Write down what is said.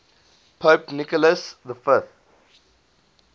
pope nicholas v